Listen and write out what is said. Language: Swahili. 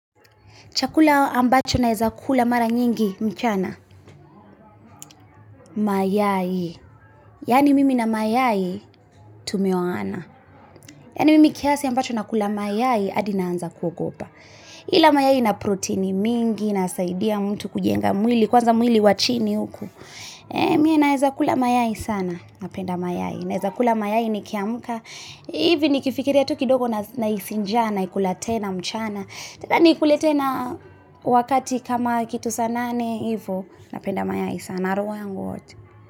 Chakula ambacho na eza kula mara nyingi mchana, mayai. Yaani mimi na mayai, tumeoana. Yaani mimi kiasi ambacho na kula mayai, adi na anza kwa gopa. Ila mayai na proteini mingi, na saidia mtu kujenga mwili. Kwanza mwili wachini huku. Mi naeza kula mayai sana. Na penda mayai. Na eza kula mayai ni kiamka. Nikifikiria tu kidogo nahisi njaa nakula tena mchana. Na kula mayai wakati kama kitu sana. Na penda mayai sana.